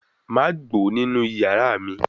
Ma gbo ninu iyara mi